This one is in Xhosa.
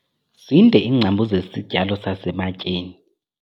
Zinde iingcambu zesi sityalo sasematyeni.